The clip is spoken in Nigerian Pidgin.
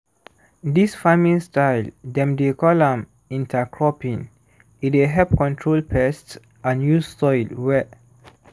dis farming style dem dey call am intercropping e dey help control pests and use soil we